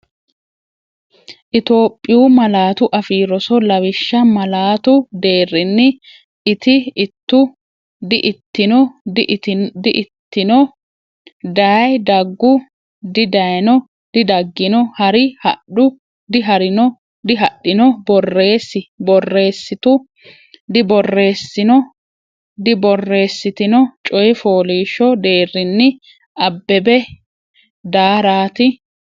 Itophiyu Malaatu Afii Roso Lawishsha malaatu deerrinni iti ittu di”itino di”ittino dayi daggu didayino didaggino ha’ri hadhu diha’rino dihadhino borreessi borreessitu diborreessino diborreessitino Coyi fooliishsho deerrinni Abbebe daaraati.